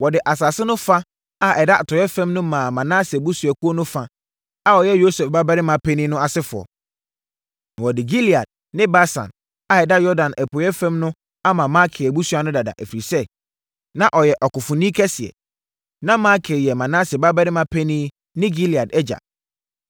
Wɔde asase no fa a ɛda atɔeɛ fam no maa Manase abusuakuo no fa a ɔyɛ Yosef babarima panin no asefoɔ. Na wɔde Gilead ne Basan a ɛda Yordan apueeɛ fam no ama Makir abusua no dada, ɛfiri sɛ, na ɔyɛ ɔkofoni kɛseɛ. (Na Makir yɛ Manase babarima panin ne Gilead agya.)